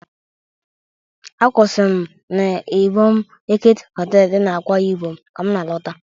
A kwụsịrị m n'Ịbọm Eket Họtelụ dị n'Akwa Ịbọm ka m na-alọta.